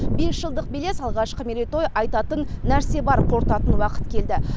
бес жылдық белес алғашқы мерейтой айтатын нәрсе бар қорытатын уақыт келді